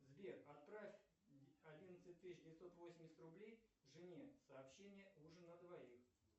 сбер отправь одиннадцать тысяч девятьсот восемьдесят рублей жене сообщение ужин на двоих